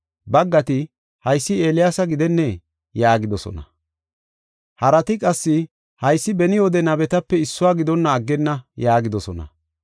Baggati, “Haysi Eeliyaasa gidennee?” yaagidosona. Harati qassi, “Haysi beni wode nabetape issuwa gidonna aggenna” yaagidosona.